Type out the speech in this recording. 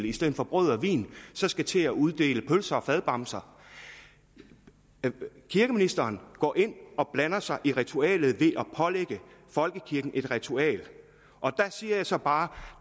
i stedet for brød og vin skal til at uddele pølser og fadbamser kirkeministeren går ind og blander sig i ritualet ved at pålægge folkekirken et ritual der siger jeg så bare